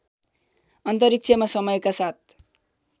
अन्तरिक्षमा समयका साथ